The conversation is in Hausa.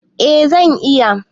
Eh zan iya.